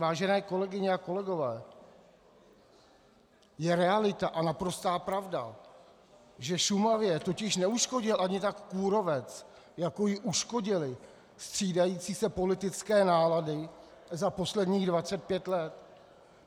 Vážené kolegyně a kolegové, je realita a naprostá pravda, že Šumavě totiž neuškodil ani tak kůrovec, jako jí uškodily střídající se politické nálady za posledních 25 let.